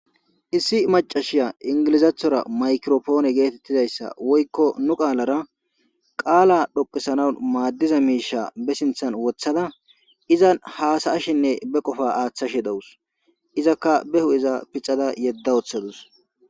Issi macashiya ingilizaathora maykiropoone geetettizayssa woykko nu qaalara qaala dhoqesana maaddiza miisha be sinthan wothada izan haasa ashinne be qofa aaththashe dawus izakka behu iza pixada yedda woththadus.